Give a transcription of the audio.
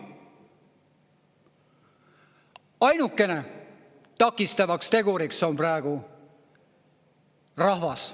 Ainukene takistav tegur on praegu rahvas.